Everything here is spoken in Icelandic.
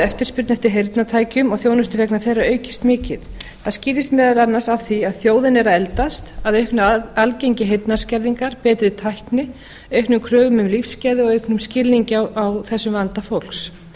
eftirspurn eftir heyrnartækjum og þjónustu vegna þeirra aukist mikið það skýrist meðal annars af því að þjóðin er að eldast að auknu aðgengi heyrnarskerðingar betri tækni auknum kröfum um lífsgæði og auknum skilningi á þessum vanda fólks